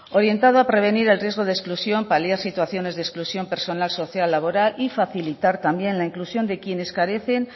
orientado a prevenir el riesgo de exclusión paliar situaciones de exclusión personal social laboral y facilitar también la inclusión de quienes carecen